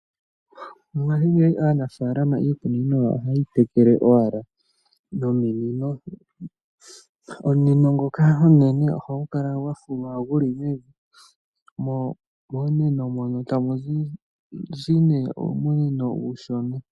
Mongaashingeyi aanafaalama, iikunino ohayeyi tekele owala nominino. Omunino ngoka omunene ohagu kala gwafulwa gu li mevi, mo momunino mono tamu zi nee uumunino uushona.